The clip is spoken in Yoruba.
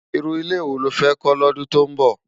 Irú ilé wó ló fè kò lòdún tó nbó?